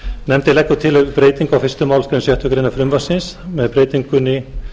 nefndin leggur til breytingu á fyrstu málsgrein sjöttu greinar frumvarpsins með breytingunni